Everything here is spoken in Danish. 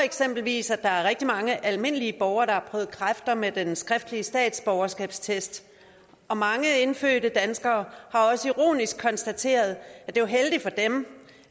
eksempelvis at der er rigtig mange almindelige borgere der har prøvet kræfter med den skriftlige statsborgerskabstest og mange indfødte danskere har også ironisk konstateret at det var heldigt for dem